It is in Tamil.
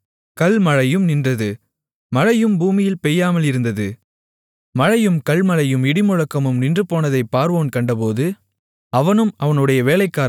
மழையும் கல்மழையும் இடிமுழக்கமும் நின்றுபோனதை பார்வோன் கண்டபோது அவனும் அவனுடைய வேலைக்காரர்களும் பின்னும் பாவம்செய்து தங்களுடைய இருதயத்தைக் கடினப்படுத்தினார்கள்